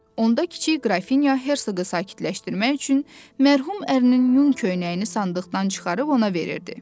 Onda kiçik qrafinya herqı sakitləşdirmək üçün mərhum ərinin yun köynəyini sandıqdan çıxarıb ona verirdi.